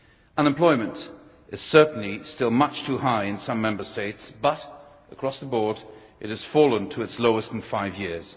Unemployment is certainly still much too high in some Member States but, across the board, it has fallen to its lowest in five years.